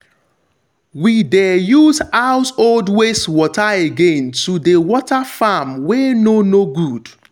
we de use household wastwater again to dey water farm wey no no good.